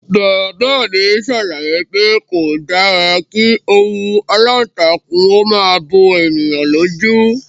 Bàbá mi ṣàlàyé pé kò dára kí òwú aláǹtakùn ó máa bo ènìyàn lójú